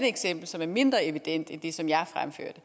eksempel som er mindre evident end det som jeg fremførte